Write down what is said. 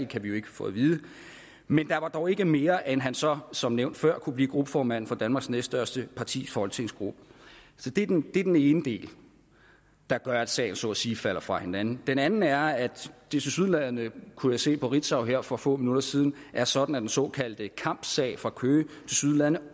kan vi jo ikke få at vide men der var dog ikke mere galt end at han så som nævnt før kunne blive gruppeformand for danmarks næststørste partis folketingsgruppe det er den ene del der gør at sagen så at sige falder fra hinanden den anden er at det tilsyneladende kunne jeg se på ritzau her for få minutter siden er sådan at den såkaldte kampsag fra køge